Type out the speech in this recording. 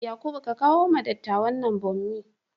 Yakubu, ka kawo wa dattawan nan bommi